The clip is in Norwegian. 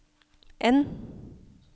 N